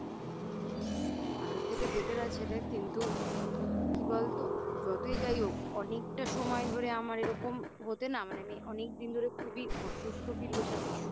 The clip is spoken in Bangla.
আগের থেকে Better আছে রে কিন্তু কি বলতো যতই যাই হোক অনেকটা সময় ধরে আমার এরকম হতে না অনেকদিন ধরে খুবই অসুস্থ Feel করছিলাম